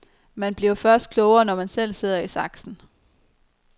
Man bliver først klogere, når man selv sidder i saksen.